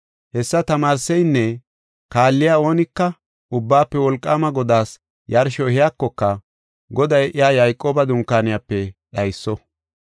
Hessa tamaarseynne kaalliya oonika, Ubbaafe Wolqaama Godaas yarsho ehiyakoka, Goday iya Yayqooba dunkaaniyape dhayso.